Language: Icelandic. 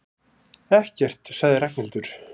Ekkert sagði Ragnhildur.